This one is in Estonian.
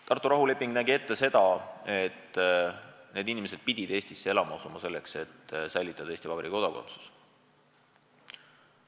Tartu rahuleping nägi ette seda, et need inimesed pidid Eestisse elama asuma, kui tahtsid säilitada Eesti Vabariigi kodakondsuse.